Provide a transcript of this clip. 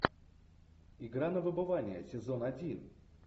игра на выбывание сезон один